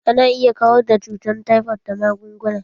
Ana iya kawar da cutan taifot da magunguna